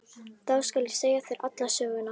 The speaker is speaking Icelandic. Þá skal ég segja þér alla söguna.